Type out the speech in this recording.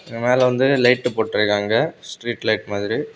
மேல வந்து லைட் போட்டிருக்காங்க ஸ்ட்ரீட் லைட் மாதிரி.